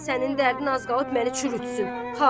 Sənin dərdin az qalıb məni çürütsün.